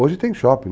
Hoje tem shopping.